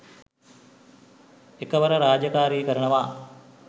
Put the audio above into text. එකවර රාජකාරි කරනවා.